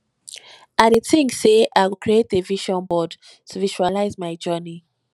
i dey think say i go create a vision board to visualize my journey